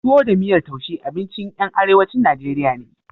Tuwo da miyar taushe abinci ƴan arewacin Najeriya ne.